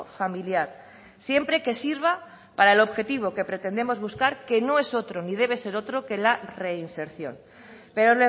familiar siempre que sirva para el objetivo que pretendemos buscar que no es otro ni debe ser otro que la reinserción pero